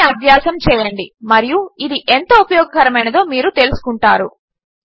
దీనిని అభ్యాసము చేయండి మరియు ఇది ఎంత ఉపయోగకరమైనదో మీరు తెలుసుకుంటారు